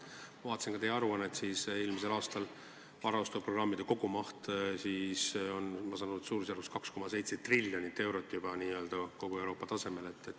Ma vaatasin teie aruandest, et eelmisel aastal oli varaostuprogrammide kogumaht suurusjärgus 2,7 triljonit eurot, juba n-ö kogu Euroopa tasemel.